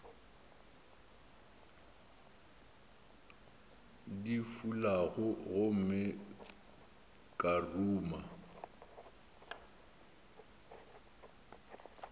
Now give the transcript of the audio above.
di fulago gomme ka ruma